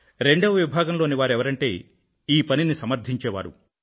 రెండవ విభాగం లోనివారు ఎవరంటే ఈ పనిని సమర్ధించే వారు